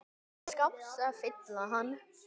skáps að fylla hann.